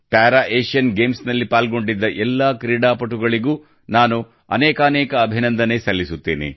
para Asian games ನಲ್ಲಿ ಪಾಲ್ಗೊಂಡಿದ್ದ ಎಲ್ಲಾ ಕ್ರೀಡಾಪಟುಗಳಿಗೂ ನಾನು ಅನೇಕಾನೇಕ ಅಭಿನಂದನೆ ಸಲ್ಲಿಸುತ್ತೇನೆ